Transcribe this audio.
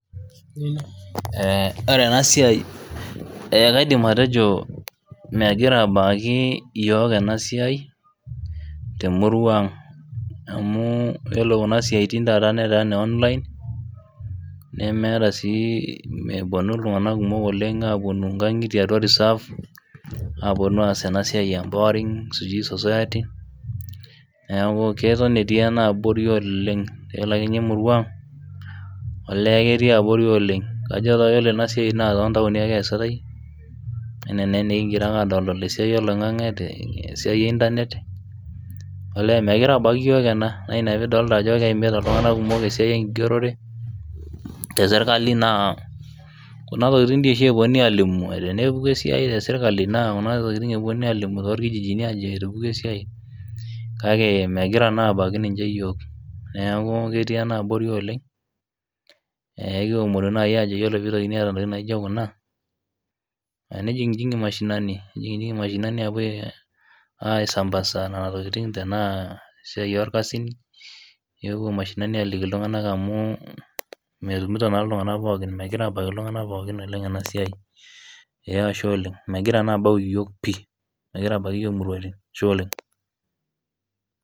Ee ore ena siai ee kaidim atejo megira aabaiki iyiook ena siai temurua ang' iyiolo Kuna siatin taata netaa ine online nemeeta sii iltunganak kumok oleng aapuonu, inkagitie atua reserve aapuonu aas ena siai e empowering neeku keton etii ena abori oleng, iyiolo ake ninye emurua ang olee ketii abori, oleng. Kajo ore ena siai too ntaoni ake eesitae, anaa naa enikigira ake aadol tesiai oloingang'e, te siai e internet olee megira aabaiki iyiook ena, naa Ina pee idolita ajo keimita iltunganak kumok esiai enkigerore, te sirkali naa kuna tokitin, sii oshi epuonunui aalimu tenepuku esiai te sirkali naa kuna tokitin epuonunui alimu torkikijini ajo etupukuo esiai, kake megira naa aabaiki ninche iyiook neeku, ketii ena abori oleng. Ekiomonu naaji ajo ore pee eitokini aata ntokitin naijo kuna, nijijingi mashinini apuo aisampasa Nena tokitin tenaa esiai irkasin, nipopuo mashinini aaliki iltunganak amu, metumoto naa iltunganak pookin, megira aabaiki iltunganak pookin ena siai, ee Ashe oleng, megira naa aabaiki iyiook ashie oleng.